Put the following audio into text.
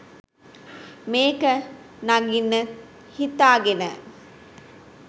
මේක නගින්න හිතාගෙන